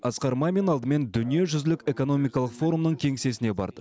асқар мамин алдымен дүниежүзілік экономикалық форумның кеңсесіне барды